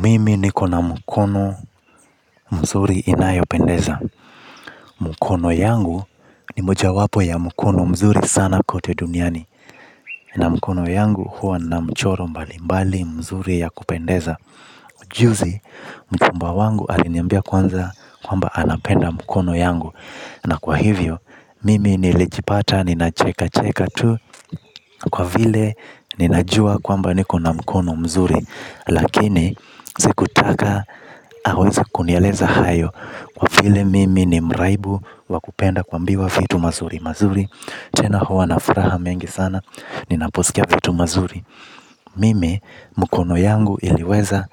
Mimi niko na mkono mzuri inayo pendeza. Mkono yangu ni moja wapo ya mkono mzuri sana kote duniani. Na mkono yangu huwa na mchoro mbalimbali mzuri ya kupendeza. Juzi mchumba wangu aliniambia kwanza kwamba anapenda mkono yangu. Na kwa hivyo, mimi niljipata nina cheka cheka tu kwa vile ninajua kwamba niko na mkono mzuri. Lakini sikutaka aweze kunieleza hayo kwa vile mimi ni mraibu wa kupenda kuambiwa vitu mazuri. Mazuri tena huwa na furaha mengi sana. Ninaposikia vitu mazuri mimi mkono yangu iliweza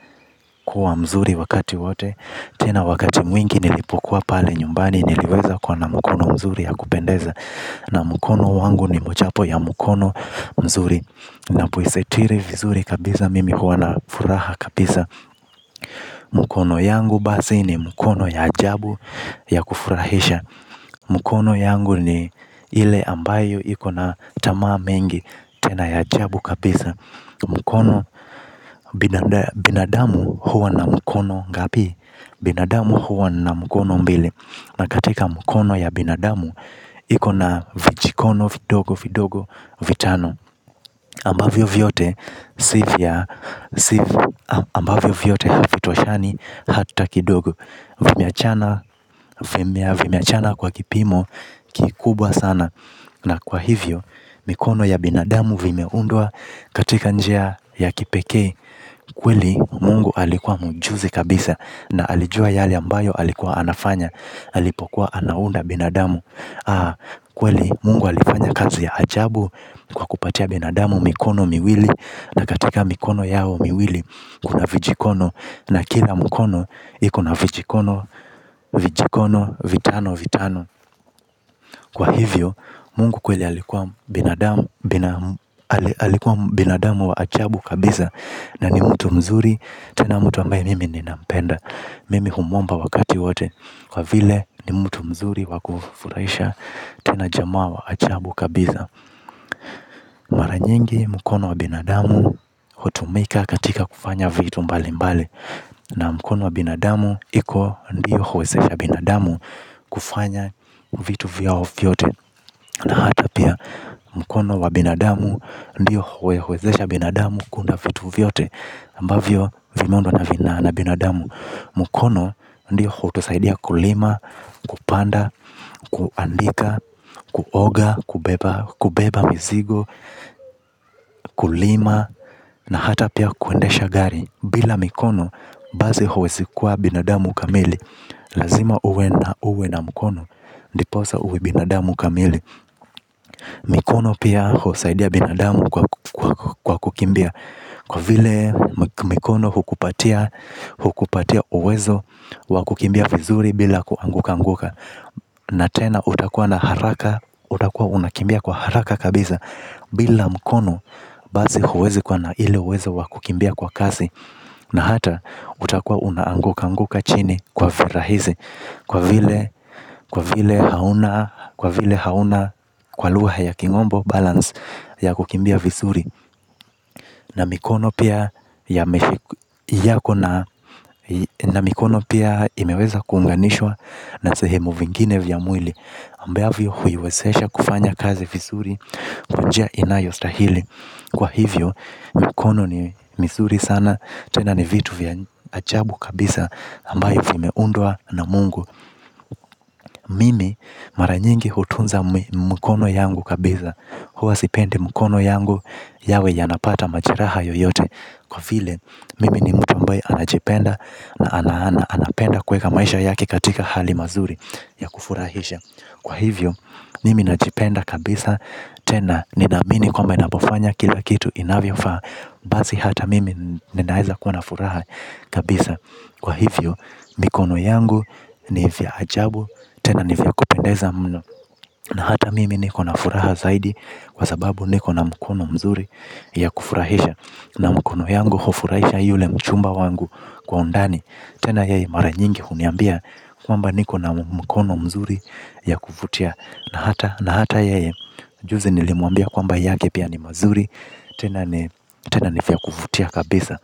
kuwa mzuri wakati wote. Tena wakati mwingi nilipokuwa pale nyumbani niliweza kuwa na mkono mzuri ya kupendeza. Na mkono wangu ni mojawapo ya mkono mzuri. Ninapoisitiri vizuri kabisa mimi huwa na furaha kabisa. Mkono yangu basi ni mkono ya ajabu ya kufurahisha. Mkono yangu ni ile ambayo ikona tamaa mengi tena ya ajabu kabisa. Mkono binadamu huwa na mkono ngapi. Binadamu huwa na mkono mbili. Na katika mkono ya binadamu ikona vijikono vidogo vidogo vitano ambavyo vyote havi toshani hata kidogo. Vimeachana kwa kipimo kikubwa sana. Na kwa hivyo mikono ya binadamu vimeundwa katika njia ya kipekee. Kweli mungu alikuwa mjuzi kabisa na alijua yale ambayo alikuwa anafanya. Alipokuwa anaunda binadamu aa kweli mungu alifanya kazi ya ajabu kwa kupatia binadamu mikono miwili. Na katika mikono yao miwili kuna vijikono na kila mkono iko na vijikono vijikono vitano vitano. Kwa hivyo mungu kweli alikuwa binadamu wa ajabu kabisa na ni mtu mzuri tena mtu ambaye mimi ninampenda. Mimi humuomba wakati wote kwa vile ni mtu mzuri wa kufurahisha tena jamaa wa ajabu kabisa. Mara nyingi mkono wa binadamu hutumika katika kufanya vitu mbali mbali na mkono wa binadamu iko ndio huwezesha binadamu kufanya vitu vyao vyote hata pia mkono wa binadamu ndio huwezesha binadamu kuunda vitu vyote ambavyo vimeundwa na binadamu. Mkono ndi hutusaidia kulima, kupanda, kuandika, kuoga, kubeba, kubeba mizigo, kulima, na hata pia kuendesha gari. Bila mikono, basi huwezi kuwa binadamu kamili. Lazima uwe na uwe na mkono, ndiposa uwe binadamu kamili. Mikono pia husaidia binadamu kwa kukimbia. Kwa vile mikono hukupatia uwezo wa kukimbia vizuri bila kuangukanguka. Na tena utakua na haraka utakua unakimbia kwa haraka kabisa. Bila mkono basi huwezi kuwa na ile uwezo wa kukimbia kwa kasi. Na hata utakua una anguka anguka chini kwa virahisi. Kwa vile hauna kwa lugha ya kimombo balance ya kukimbia vizuri. Na mikono pia imeweza kuunganishwa na sehemu vingine vya mwili ambavyo huiwezesha kufanya kazi vizuri kwa njia inayostahili kwa hivyo mikono ni mizuri sana tena ni vitu vya ajabu kabisa ambayo vimeundwa na mungu. Mimi maranyingi hutunza mikono yangu kabisa. Huwa sipendi mikono yangu. Yawe yanapata majiraha yoyote. Kwa vile, mimi ni mtu ambae anajipenda na anapenda kuweka maisha yake katika hali mazuri ya kufurahisha. Kwa hivyo, mimi najipenda kabisa, tena nina amini kwamba ninapofanya kila kitu inavyo faa. Basi hata mimi ninaeza kuwa na furaha kabisa. Kwa hivyo, mikono yangu ni vya ajabu, tena ni vya kupendeza mno na hata mimi niko na furaha zaidi kwa sababu niko na mkono mzuri ya kufurahisha mkono yangu hufurahisha yule mchumba wangu kwa undani tena yeye mara nyingi huniambia kwamba niko na mkono mzuri ya kuvutia. Na hata yeye juzi nilimuambia kwamba yake pia ni mazuri tena ni vya kuvutia kabisa.